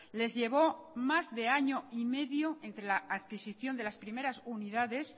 les llevó más de año y medio entre la adquisición de las primeras unidades